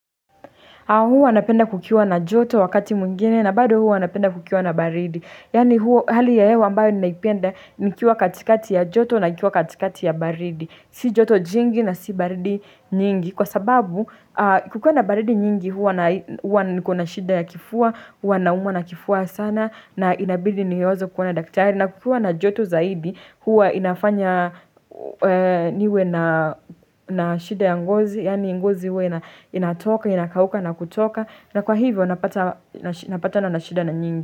Huwa napenda kukiwa na joto wakati mwingine na bado huwa napenda kukiwa na baridi. Yaani hali ya hewa ambayo ninaipenda nikiwa katikati ya joto na nikiwa katikati ya baridi. Si joto jingi na si baridi nyingi. Kwa sababu kukiwa na baridi nyingi huwa niko na shida ya kifua, huwa na umwa na kifua sana na inabidi niyozo kuona daktari. Na kukiwa na joto zaidi, huwa inafanya niwe na shida ya ngozi, yaani ngozi huwa inatoka, inakauka na kutoka. Na kwa hivyo, napata na nashida na nyingi.